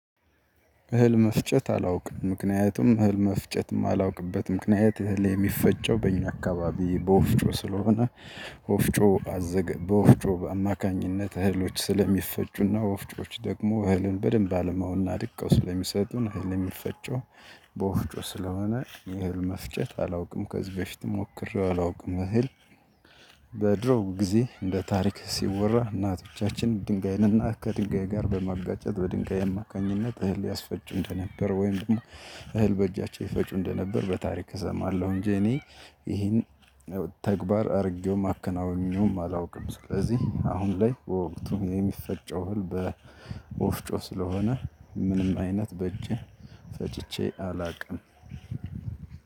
እህል መፍጨት አላውቅም ምክንያቱም እህል መፍጨትም እማላውቅበት ምክንያት እህል የሚፈጨው በእኛ አካባቢ በወፍጮ ስለሆነ ወፍጮ በወፍጮ አማካኝነት እህሎች ስለሚፈጩና ወፍጮዎች ደግሞ እህልን በደንብ አለመሆኑና አድቀው ስለሚሰጡን እህል የሚፈጨው በወፍጮ ስለሆነ እህል መፍጨት አላውቅም። ከዚህ በፊት ሞክሬው አላውቅም። እህል በድሮ ጊዜ እንደ ታሪክ ሲወራ እናቶቻችን ድንጋይን እና ከድንጋይ ጋር በማጋጨት በድንጋይ አማካኝነት እህል ያስፈጁ እንደነበር ወይም ደግሞ እህል በእጃቸው ይፈጩ እንደነበር በታሪክ እሰማለሁ። እንጂ እኔ ይሄን ተግባር አድርጌው ማከናውኘውም አላውቅም። ስለዚህ አሁን ላይ በወቅቱ የሚፈጨው ህልም ወፍጮ ስለሆነ ምንም አይነት በእጄ ፈጭቼ አላውቅም።